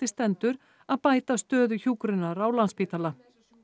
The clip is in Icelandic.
stendur að bæta stöðu hjúkrunar á Landspítala